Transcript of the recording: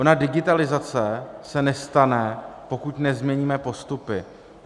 Ona digitalizace se nestane, pokud nezměníme postupy.